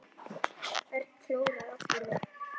Örn kólnaði allur upp.